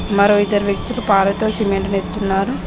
మరో ఇద్దరు వ్యక్తులు పారతో సిమెంట్ తెస్తున్నారు.